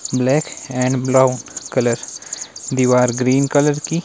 Black and blue colour दीवार green colour की।